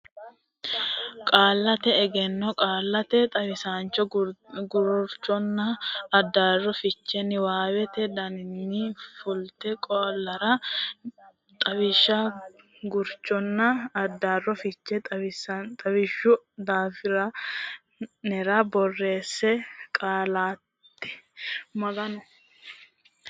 Qaallate Egenno Qaallate Xawishsha Gurchonna Addaarro Fiche niwaawete giddoonni fultino qaallara xawishsha gurchonna addaarro fiche lawishshu daftari nera borreesse Qaallate.